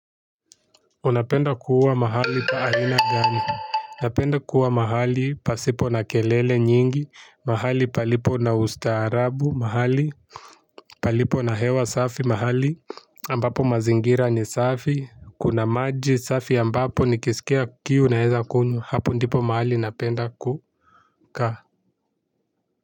Unapenda kuwa mahali pa aina gani. Napenda kuwa mahali pasipo na kelele nyingi. Mahali palipo na ustarabu. Mahali palipo na hewa safi. Mahali ambapo mazingira ni safi. Kuna maji safi ambapo nikisikia kiu naweza kunywa. Hapo ndipo mahali napenda kukaa.